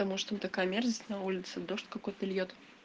потому что такая мерзость на улице дождь какой-то льёт